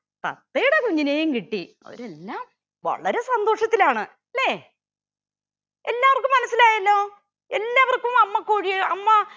തത്തയുടെ കുഞ്ഞിനേയും കിട്ടി. അവരെല്ലാം വളരെ സന്തോഷത്തിലാണ് അല്ലെ. എല്ലാവർക്കും മനസിലായല്ലോ എല്ലാവർക്കും അമ്മക്കോഴിയെ അമ്മ